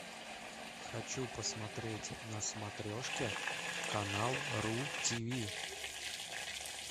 хочу посмотреть на смотрешке канал ру тиви